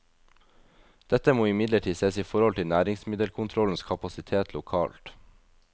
Dette må imidlertid ses i forhold til næringsmiddelkontrollens kapasitet lokalt.